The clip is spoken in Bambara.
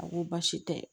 A ko baasi tɛ